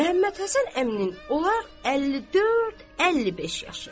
Məhəmmədhəsən əminin olar 54-55 yaşı.